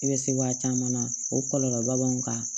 I bɛ se waati caman na o kɔlɔlɔba b'an kan